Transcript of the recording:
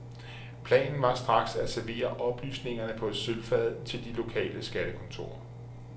Planen var straks at servere oplysningerne på et sølvfad til de lokale skattekontorer.